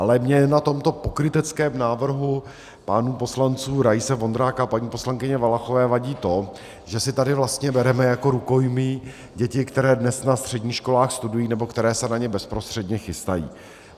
Ale mně na tomto pokryteckém návrhu pánů poslanců Raise, Vondráka a paní poslankyně Valachové vadí to, že si tady vlastně bereme jako rukojmí děti, které dnes na středních školách studují nebo které se na ně bezprostředně chystají.